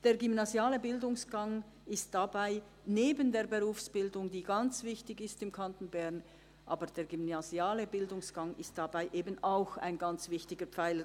Neben der Berufsbildung, die im Kanton Bern ganz wichtig ist, ist dabei eben auch der gymnasiale Bildungsgang ein ganz wichtiger Teil.